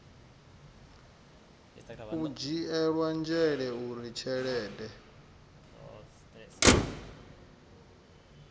u dzhielwa nzhele uri tshelede